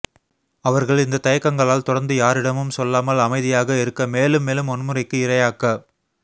அவர்கள் இந்தத் தயக்கங்களால் தொடர்ந்து யாரிடமும் சொல்லாமல் அமைதியாக இருக்க மேலும் மேலும் வன்முறைக்கு இரையாக்கப்